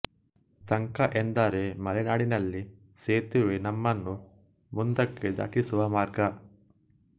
ಸಂಕ ಎಂದರೆ ಮಲೆನಾಡಿನಲ್ಲಿ ಸೇತುವೆ ನಮ್ಮನ್ನು ಮುಂದಕ್ಕೆ ದಾಟಿಸುವ ಮಾರ್ಗ